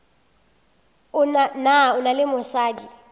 na o na le mosadi